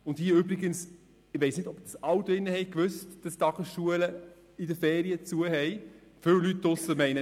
Ich weiss nicht, ob alle hier drin wissen, dass die Tagesschulen während den Ferien geschlossen sind.